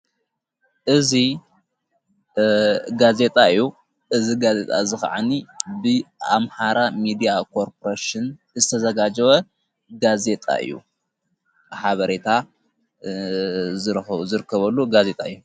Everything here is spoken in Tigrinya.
እዝ ጋዜጣ እዩ እዝ ጋዜጣ ዝኸዓኒ ብኣምሃራ ሚድያ ቆርጵረስን ዝተዘጋጅወ ጋዜጣ እዩ ሓበሬታ ዘርከበሉ ጋዜጣ እዩ።